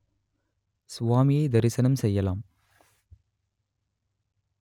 சுவாமியை தரிசனம் செய்யலாம்